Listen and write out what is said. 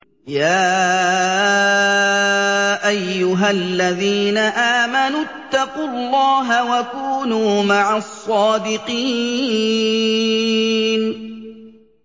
يَا أَيُّهَا الَّذِينَ آمَنُوا اتَّقُوا اللَّهَ وَكُونُوا مَعَ الصَّادِقِينَ